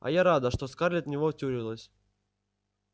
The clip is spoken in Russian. а я рада что скарлетт в него втюрилась